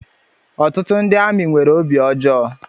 Ọtụtụ ndị amị nwèrè obi ọjọọ